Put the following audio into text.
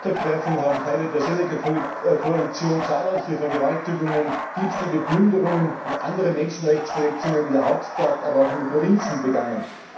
Seit ihrer Machtergreifung haben Teile der Séléka Koalition zahlreiche Vergewaltigungen, Diebstähle, Plünderungen und andere Menschenrechtsverletzungen in der Hauptstadt, aber auch in den Provinzen begangen.